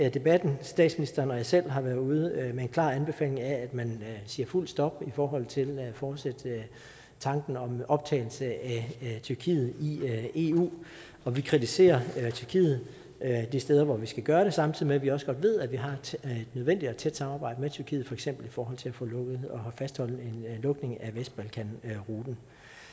i debatten statsministeren og jeg selv har været ude med en klar anbefaling af at man siger fuldt ud stop i forhold til at fortsætte tanken om en optagelse af tyrkiet i eu og vi kritiserer tyrkiet de steder hvor vi skal gøre det samtidig med at vi også godt ved at vi har et nødvendigt og tæt samarbejde med tyrkiet for eksempel i forhold til at få lukket og fastholde en lukning af vestbalkanruten